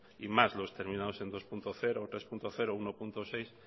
y más los terminados en dos punto cero tres punto cero o uno punto seis